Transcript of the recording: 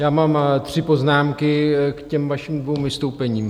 Já mám tři poznámky k těm vašim dvěma vystoupením.